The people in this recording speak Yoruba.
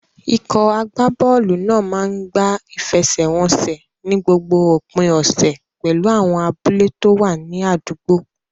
Ikọ̀ agbábọ́ọ̀lù náà máa ń gbá ìfẹsẹ̀wọnsẹ̀ ní gbogbo òpin ọ̀sẹ̀ pẹ̀lú àwọn abúlé tó wà ní àdúgbò.